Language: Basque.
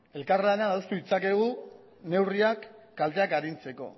elkarlanean adostu ditzakegu neurriak kalteak arintzeko